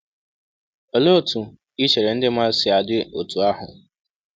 Olee otú i chere ndị mmadụ si adị otú ahụ?”